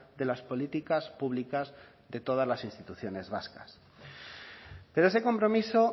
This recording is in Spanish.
de las políticas públicas de todas las instituciones vascas pero ese compromiso